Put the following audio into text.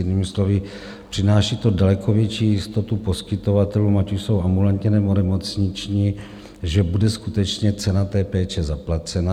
Jinými slovy, přináší to daleko větší jistotu poskytovatelům, ať už jsou ambulantní, nebo nemocniční, že bude skutečně cena té péče zaplacena.